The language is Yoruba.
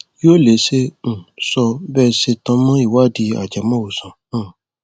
yóò lè ṣe um sọ bó ṣe tan mọ ìwádìí ajẹmọwòsàn um